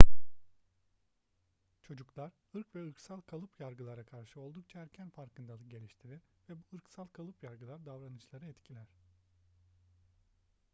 çocuklar ırk ve ırksal kalıp yargılara karşı oldukça erken farkındalık geliştirir ve bu ırksal kalıp yargılar davranışları etkiler